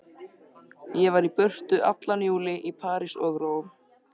Ég var í burtu allan júlí, í París og Róm.